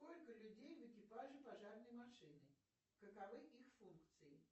сколько людей в экипаже пожарной машины каковы их функции